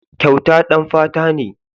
Kyauta ɗan fata ne.